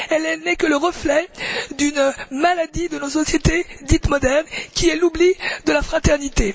Elle n'est que le reflet d'une maladie de nos sociétés dites modernes, qui est l'oubli de la fraternité.